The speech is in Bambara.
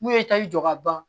N'u ye taji jɔ ka ban